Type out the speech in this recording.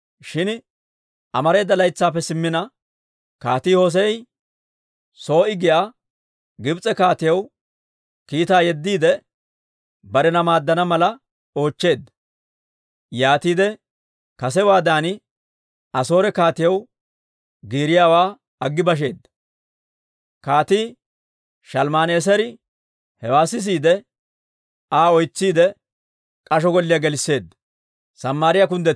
Shin amareeda laytsaappe simmina, Kaatii Hossee'i Soo'i giyaa Gibs'e kaatiyaw kiitaa yeddiide, barena maaddana mala oochcheedda. Yaatiide kasewaadan Asoore kaatiyaw giiriyaawaa aggi basheedda. Kaatii Shalmman"eeseri hewaa sisiide, Aa oytsiidde, k'asho golliyaa gelisseedda.